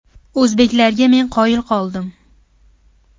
O‘zbeklarga men qoyil qoldim.